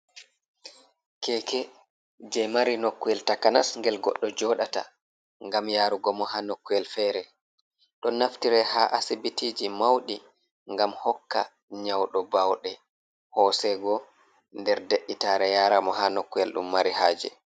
Keke je mari nokkuyel takanas ngel goɗɗo joɗata, ngam yarugo mo ha nokkuyel fere. Ɗon naftire ha asibitiji mauɗi ngam hokka nyauɗo bauɗe hosego nder dei, tare, yaramo ha nokkuyel ɗum mari haje.